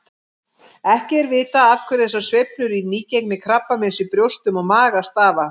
Ekki er vitað af hverju þessar sveiflur í nýgengi krabbameins í brjóstum og maga stafa.